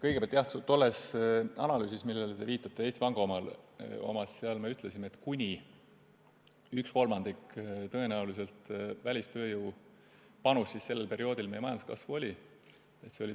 Kõigepealt, jah, tolles Eesti Panga analüüsis, millele te viitate, me ütlesime, et tõenäoliselt oli välistööjõu panus sellel perioodil meie majanduskasvu kuni 1/3.